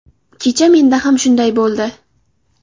Kecha menda ham shunday bo‘ldi.